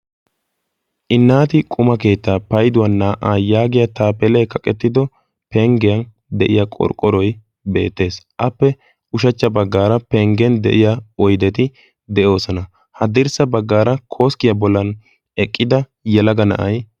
inaati quma keettaa paiduwan naa'aa yaagiya taapheley kaqettido penggeyan de'iya qorqqoroy beettees. appe ushachcha baggaara penggen de'iya oydeti de'oosona. ha dirssa baggaara kooskkiyaa bollan eqqida yalaga na7ay